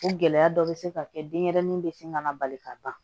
O gɛlɛya dɔ bɛ se ka kɛ denɲɛrɛnin bɛ se ka na bali ka ban